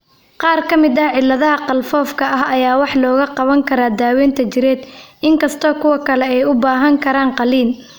Qaar ka mid ah cilladaha qalfoofka ah ayaa wax looga qaban karaa daawaynta jireed, inkastoo kuwa kale ay u baahan karaan qalliin.